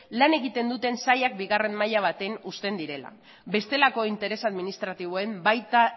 lan egiten dute sailak bigarren maila baten uzten direla bestelako interesa administratiboen baita